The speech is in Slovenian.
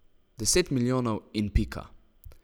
Deset milijonov in pika.